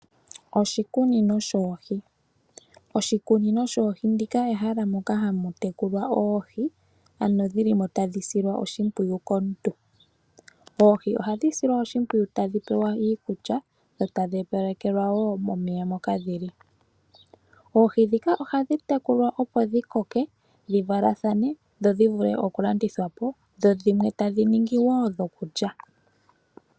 Oshikunino shoohi. Oshikunino shoohi olyo ehala moka hamu tekulilwa oohi, ano dhili mo tadhi silwa oshimpwiyu komuntu. Oohi ohadhi silwa oshimpwiyu tadhi pewa iikulya dho tadhi opalekelwa wo omeya moka dhili. Oohi ndhika ohadhi tekulwa dhi koke dhi valathane, dhi vule okulandithwa po, dho dhimwe tadhi ningi dhokulya.